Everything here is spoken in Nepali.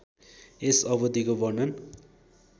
यस अवधिको वर्णन